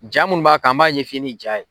Ja munni b'a kan an b'a ɲɛf'i ye ni ja ye.